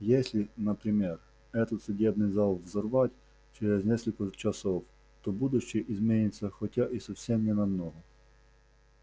если например этот судебный зал взорвать через несколько часов то будущее изменится хотя и совсем не намного